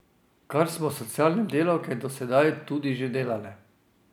Kar smo socialne delavke do sedaj tudi že delale.